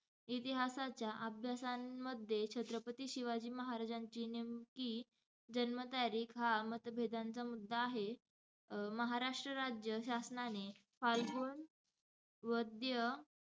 इतिहासाच्या अभ्यासांमध्ये छत्रपती शिवाजी महाराजांची नेमकी जन्मतारीख हा मतभेदांचा मुद्दा आहे. अं महाराष्ट्र राज्य शासनाने फाल्गुन वद्य,